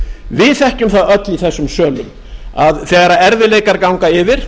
við þekkjum það öll í þessum sölum að þegar erfiðleikar ganga yfir